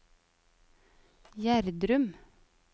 Gjerdrum